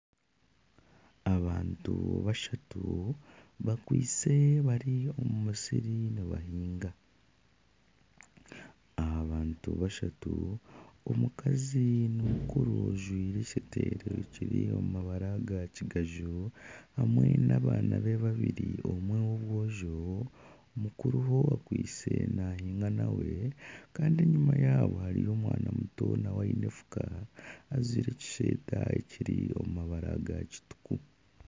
Abantu bashatu bakwitse bari omu musiri nibahinga. Aba bantu bashatu omukazi ni mukuru ajwire ekiteteyi kiri omu mabara ga kigaju hamwe n'abaana be babiri omwe w'obwojo mukuruho akwitse nahiinga nawe kandi enyima yaabo hariyo omwana muto nawe aine efuka ajwire ekishweta kiri omu mabara ga kituku.